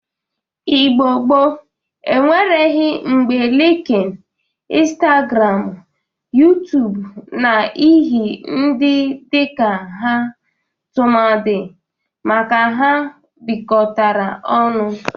Igbo gboo enwereghi mgba Linkin, Instagramụ, Yutub na ihi ndị dịka ha tụmadị maka ha bikọtara ọnụ.